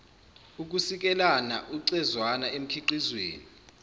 ukusikelana ucezwana emkhiqizweni